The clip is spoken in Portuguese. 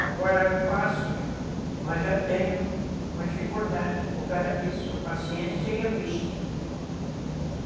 Agora eu faço, mas já tenho uma dificuldade por causa disso, a paciência e a vista.